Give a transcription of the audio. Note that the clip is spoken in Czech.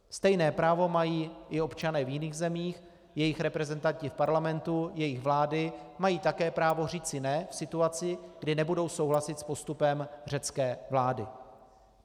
Stejné právo mají i občané v jiných zemích, jejich reprezentanti v parlamentu, jejich vlády mají také právo říci ne v situaci, kdy nebudou souhlasit s postupem řecké vlády.